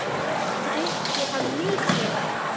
Drykki hann mikið?